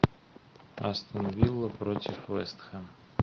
астон вилла против вест хэм